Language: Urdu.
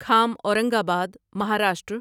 کھام اورنگ آباد مہاراشٹر